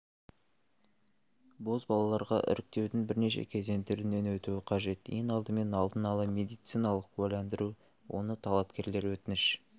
бозбалаларға іріктеудің бірнеше кезеңдерінен өту қажет ең алдымен алдын ала медициналық куәландыру оны талапкерлер өтініш